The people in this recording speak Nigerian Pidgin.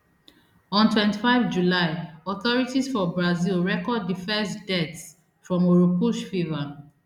on twenty-five july authorities for brazil record di first deaths from oropouche fever